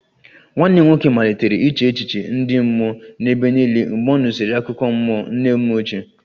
Nwanne m nwoke malitere iche echiche ndị mmụọ n'ebe niile mgbe ọ nụsịrị akụkọ mmụọ nne m ochie